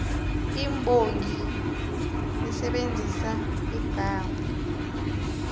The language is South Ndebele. imbongi isebenzise igama